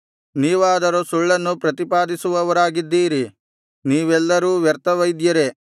ನೀವಾದರೋ ಸುಳ್ಳನ್ನು ಪ್ರತಿಪಾದಿಸುವವರಾಗಿದ್ದೀರಿ ನೀವೆಲ್ಲರೂ ವ್ಯರ್ಥ ವೈದ್ಯರೇ